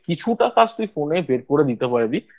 কিছুটা কাজ তুই Phone এ বের করে নিতে পারবি